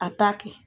A ta kɛ